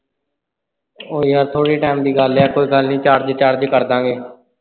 ਓਏ ਯਾਰ ਥੋੜੇ time ਦੀ ਗੱਲ ਆ ਕੋਈ ਗੱਲ ਨਹੀਂ recharge ਕਰਦਾ ਗੇ।